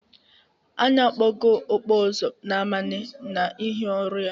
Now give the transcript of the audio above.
Anya akpogo ọkpụ ụzụ Nnamani n'ihi ọrụ ya.